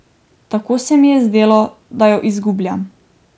Tako se mi je zdelo, da jo izgubljam.